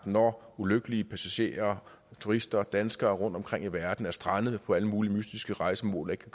hvor ulykkelige passagerer turister danskere rundtomkring i verden er strandet på alle mulige mystiske rejsemål og ikke